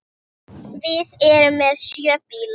Við erum með sjö bíla.